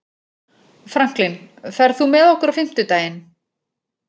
Franklin, ferð þú með okkur á fimmtudaginn?